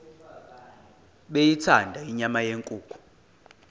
beyithanda inyama yenkukhu